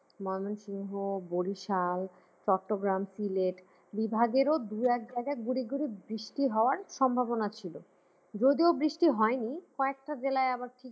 , বরিশাল, চট্টগ্রাম, সিলেট বিভাগের দুই এক জায়গায় গুড়ি গুড়ি বৃষ্টি হবার সম্ভাবনা ছিল যদিও বৃষ্টি হয়নি কয়েকটা জেলায় আবার